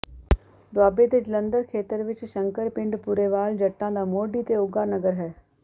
ਦੁਆਬੇ ਦੇ ਜਲੰਧਰ ਖੇਤਰ ਵਿੱਚ ਸ਼ੰਕਰ ਪਿੰਡ ਪੁਰੇਵਾਲ ਜੱਟਾਂ ਦਾ ਮੋਢੀ ਤੇ ਉਘਾ ਨਗਰ ਹੈ